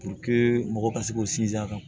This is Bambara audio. mɔgɔ ka se k'u sinsin a kan